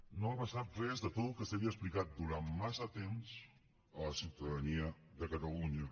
no va passar res de tot el que s’havia explicat durant massa temps a la ciutadania de catalunya